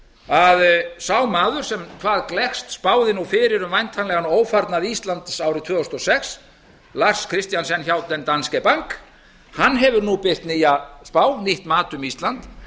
að sá maður sem hvað gleggst spáði fyrir um væntanlegan ófarnað íslands árið tvö þúsund og sex lars christiansen hjá den danske bank hefur nú birt nýja spá nýtt mat um ísland